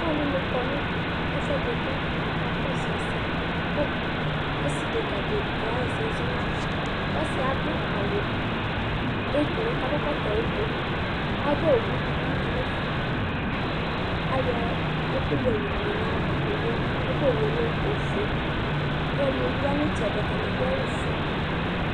ɔlɔdini kɔnʋ ɛƒʋɛdi ka akakɔsʋ ɛsɛ kʋɔsii ɛdɛka di kayɛsɛ zɔnʋ aƒa, ɔsiiɛ adʋ awʋ ɔblɔ kʋ adʋ ɛkɔtɔ ɔblɔ, aɣa ɔwʋ dibi manʋ ɛƒɛ, ayɔ ɛkʋwɛ yɔ mlɔ nʋ ayiava, aɣa ɔwʋɛ lɛ ɔƒʋɛ, ɔlɔdini bi yanʋ itsɛdi atani adʋ awʋ ƒʋɛ